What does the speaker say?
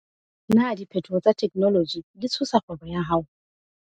Na diphetoho tsa theknoloji di tshosa kgwebo ya hao?